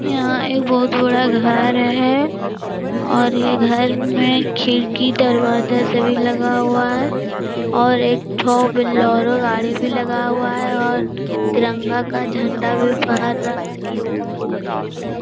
यहाँ एक बहुत बड़ा घर है और ये घर में खिड़की दरवाजा सभी लगा हुआ है और एक ठो बोलेरो गाड़ी भी लगा हुआ है और तिरंगा का झंडा भी फहर रहा है। --